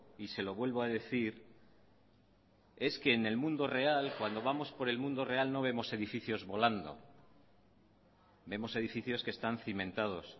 y se lo vuelvo a decir es que en el mundo real cuando vamos por el mundo real no vemos edificios volando vemos edificios que están cimentados